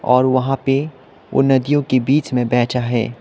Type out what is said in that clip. और वहां पे वो नदियों के बीच में बैठा है।